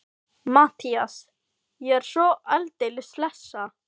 MATTHÍAS: Ég er svo aldeilis hlessa.